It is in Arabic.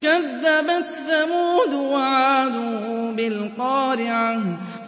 كَذَّبَتْ ثَمُودُ وَعَادٌ بِالْقَارِعَةِ